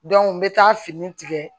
n bɛ taa fini tigɛ